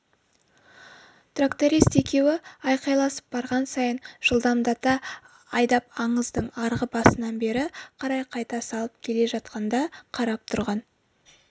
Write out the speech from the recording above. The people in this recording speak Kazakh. тракторист екеуі айқайласып барған сайын жылдамдата айдап аңыздың арғы басынан бері қарай қайта салып келе жатқанда қарап тұрған